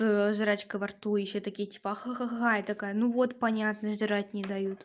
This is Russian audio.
жрачка во рту и ещё типа ха-ха-ха я такая ну вот понятно и жрать не дают